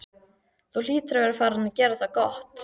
Þú hlýtur að vera farinn að gera það gott!